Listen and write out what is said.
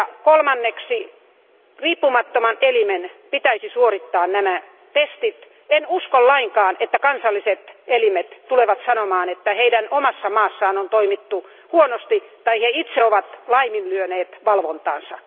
Kolmanneksi riippumattoman elimen pitäisi suorittaa nämä testit. En usko lainkaan, että kansalliset elimet tulevat sanomaan, että heidän omassa maassaan on toimittu huonosti tai he itse ovat laiminlyöneet valvontansa.